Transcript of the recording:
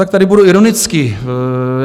Tak tady budu ironický.